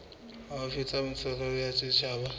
haufi tsa ntshetsopele ya setjhaba